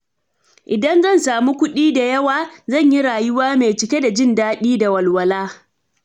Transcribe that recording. In da zan samu kuɗi da yawa, zan yi rayuwa mai cike da jin daɗi da walwala.